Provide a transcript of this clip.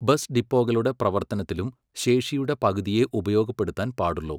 Bus ഡിപ്പോകളുടെ പ്രവർത്തനത്തിലും ശേഷിയുടെ പകുതിയേ ഉപയോഗപ്പെടുത്താൻ പാടുള്ളൂ.